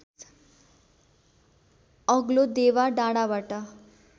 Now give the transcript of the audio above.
अग्लो देवा डाँडाबाट